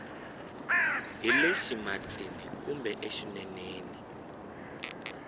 hi le ximatsini kumbe exineneni